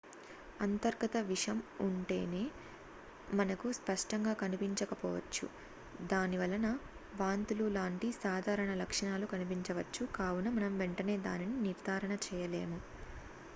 అంతర్గత విషం వెంటనే మనకు స్పష్టంగా కనిపించకపోవచ్చు దానివలన వాంతులు లాంటి సాధారణ లక్షణాలు కనిపించవచ్చు కావున మనం వెంటనే దానిని నిర్దారణ చేయలేము